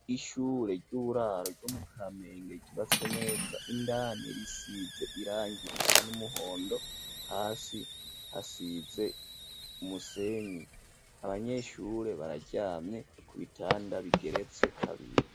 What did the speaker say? Ishure ry'uburaro ryo mu kamenge ,ryubatswe neza ,indani risize irangi risa n'umuhondo ,hasi hasize umusenyi, abanyeshure bararyamye ku bitanda bigeretse kabiri.